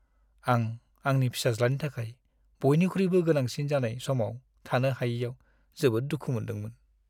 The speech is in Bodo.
आं आंनि फिसाज्लानि थाखाय बयनिख्रुइबो गोनांसिन जानाय समाव थानो हायैआव जोबोद दुखु मोनदोंमोन।